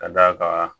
Ka d'a kan